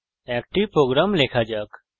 একটি প্রোগ্রাম লেখা শুরু করা যাক